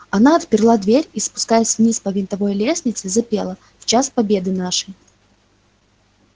она отперла дверь и спускаясь вниз по винтовой лестнице запела в час победы нашей